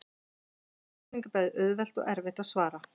Þessari spurningu er bæði auðvelt og erfitt að svara.